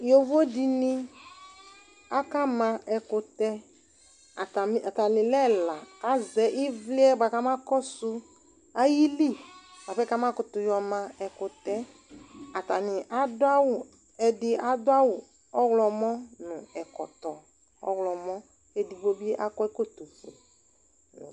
Yovo dini akama ɛkutɛAtami, atani lɛ ɛla Kazɛ ivli yɛ buakamakɔsu ayili buapɛ kamakutu yɔma ɛkutɛɛAtani aduawu, ɛdi aduawu ɔɣlɔmɔ, nu ɛkɔtɔ ɔɣlɔmɔKedigbo bi akɔ ɛkɔtɔ fue